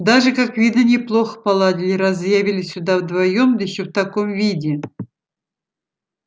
даже как видно неплохо поладили раз заявились сюда вдвоём да ещё в таком виде